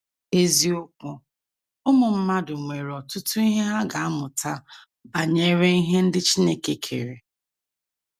Eziokwu: Ụmụ mmadụ nwere ọtụtụ ihe ha ga - amụta banyere ihe ndị Chineke kere.